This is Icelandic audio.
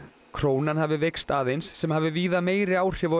krónan hafi veikst aðeins sem hafi víða meiri áhrif á